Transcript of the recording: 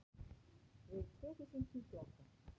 Tvö þúsund tuttugu og átta